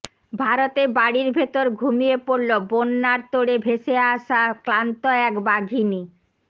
ভারতে বাড়ির ভেতর ঘুমিয়ে পড়লো বন্যার তোড়ে ভেসে আসা ক্লান্ত এক বাঘিনী